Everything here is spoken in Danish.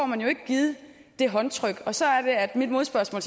givet det håndtryk så er det at mit modspørgsmål